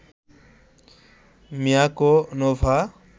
Miyako, Nova